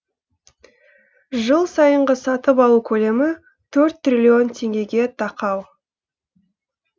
жыл сайынғы сатып алу көлемі төрт триллион теңгеге тақау